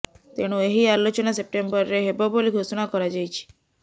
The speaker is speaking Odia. ତେଣୁ ଏହି ଆଲୋଚନା ସେପ୍ଟେମ୍ୱରରେ ହେବ ବୋଲି ଘୋଷଣା କରାଯାଇଛି